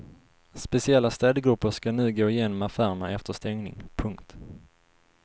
Speciella städgrupper ska nu gå igenom affärerna efter stängning. punkt